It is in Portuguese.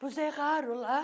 Nos erraram lá.